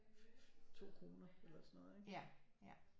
2 kroner eller sådan noget ikke